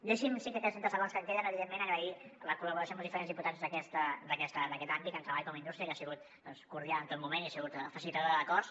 deixi’m en aquests trenta segons que em queden agrair la col·laboració amb els diferents diputats d’aquest àmbit tant treball com indústria que ha sigut cordial en tot moment i ha sigut facilitadora d’acords